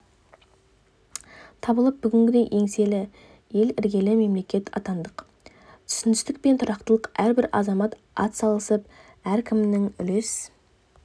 табылып бүгінгідей еңселі ел іргелі мемлекет атандық түсіністік пен тұрақтылық әрбір азамат атсалысып әркімнің үлес